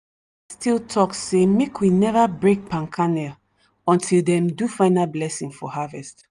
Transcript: still talk sey make we never break palm kernel until dem do final blessing for harvest.